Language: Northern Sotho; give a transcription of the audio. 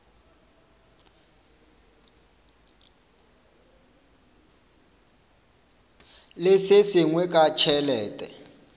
le se sengwe ka tšhelete